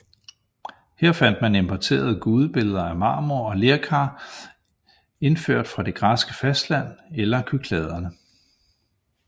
Her fandt man importerede gudebilleder af marmor og lerkar indført fra det græske fastland eller Kykladerne